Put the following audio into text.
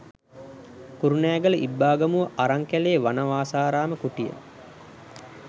කුරුණෑගල ඉබ්බාගමුව අරංකැලේ වනවාසාරාම කුටිය.